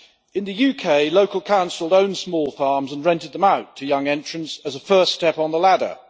In the UK, local councils owned small farms and rented them out to young entrants as a first step on the ladder.